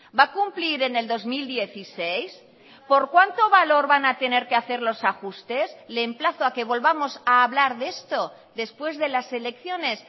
va a cumplir en el dos mil dieciséis por cuánto valor van a tener que hacer los ajustes le emplazo a que volvamos a hablar de esto después de las elecciones